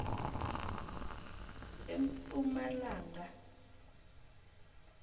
empumalanga